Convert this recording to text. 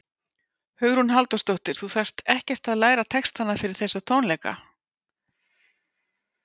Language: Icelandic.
Hugrún Halldórsdóttir: Þú þarft ekkert að læra textana fyrir þessa tónleika?